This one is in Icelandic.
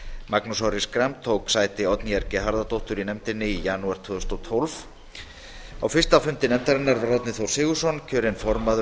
magnús orri schram tók sæti oddnýjar g harðardóttur í nefndinni í janúar tvö þúsund og tólf á fyrsta fundi nefndarinnar var árni þór sigurðsson kosinn formaður